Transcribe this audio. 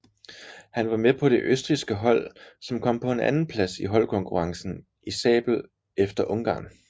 Han var med på det østrigske hold som kom på en andenplads i holdkonkurrencen i sabel efter Ungarn